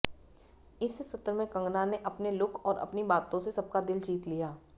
इस सत्र में कंगना ने अपने लुक और अपनी बातों से सबका दिल जीत लिया